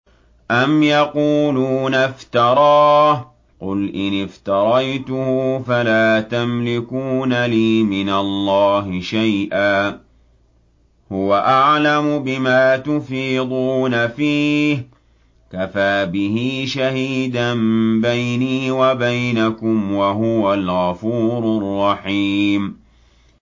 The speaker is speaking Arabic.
أَمْ يَقُولُونَ افْتَرَاهُ ۖ قُلْ إِنِ افْتَرَيْتُهُ فَلَا تَمْلِكُونَ لِي مِنَ اللَّهِ شَيْئًا ۖ هُوَ أَعْلَمُ بِمَا تُفِيضُونَ فِيهِ ۖ كَفَىٰ بِهِ شَهِيدًا بَيْنِي وَبَيْنَكُمْ ۖ وَهُوَ الْغَفُورُ الرَّحِيمُ